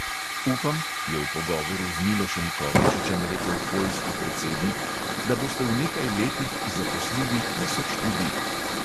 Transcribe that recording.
Upam, je v pogovoru z milošem kovačičem rekel poljski predsednik, da boste v nekaj letih zaposlili tisoč ljudi.